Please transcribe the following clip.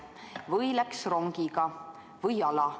Või läks rongiga või jala.